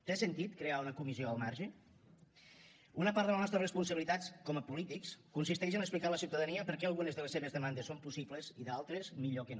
té sentit crear una comissió al marge una part de les nostres responsabilitats com a polítics consisteix a explicar a la ciutadania per què algunes de les seves demandes són possibles i d’altres millor que no